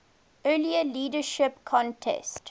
earlier leadership contest